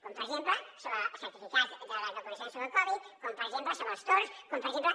com per exemple sobre el certificat de les vacunacions sobre el covid com per exemple sobre els torns com per exemple